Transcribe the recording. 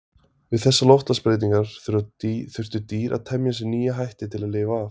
Við þessar loftslagsbreytingar þurftu dýr að temja sér nýja hætti til að lifa af.